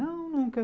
Não, nunca.